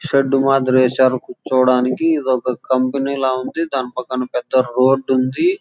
Shed మాత్రం వేశారు కూర్చోడానికి ఏదో ఒక కంపెనీ లో ఉంది. దాని పక్కన రోడ్డు ఉంది.